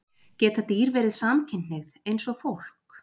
Geta dýr verið samkynhneigð, eins og fólk?